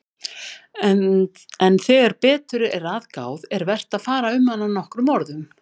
En þegar betur er að gáð er vert að fara um hana nokkrum orðum.